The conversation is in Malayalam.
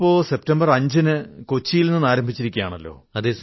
ഇപ്പോൾ സെപ്റ്റംബർ 5 ന് കൊച്ചിയിൽ നിന്ന് ആരംഭിച്ചിരിക്കയാണല്ലോ